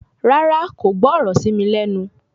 Rárá, kò gbọ́ ọ̀rọ̀ ṣí mi lẹ́nu